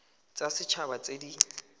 tsa set haba tse di